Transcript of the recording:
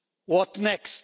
What next?